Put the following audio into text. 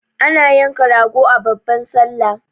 Ana yanka rago a babban sallah